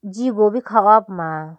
jigo bo kha ho puma.